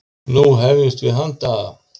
Nú hefjumst við handa!